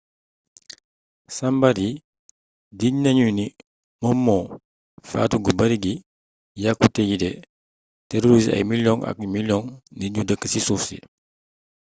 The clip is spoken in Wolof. sambar yi jiiñ nañu ni moom moo faatu gu bari gi yaqute yi te terorisé ay miliyoŋi ak miliyoŋi nit yu dëkk ci suuf si